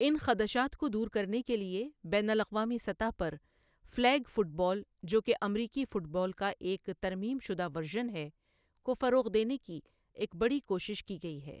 ان خدشات کو دور کرنے کے لیے بین الاقوامی سطح پر فلیگ فٹ بال، جو کہ امریکی فٹ بال کا ایک ترمیم شدہ ورژن ہے، کو فروغ دینے کی ایک بڑی کوشش کی گئی ہے۔